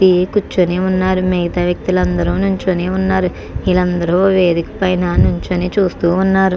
ఇదే కూర్చునే ఉన్నారు మిగతా వ్యక్తులందరూ నిల్చోని ఉన్నారు వీళ్ళందరూ వేదిక పైన నుంచని చూస్తూ ఉన్నారు.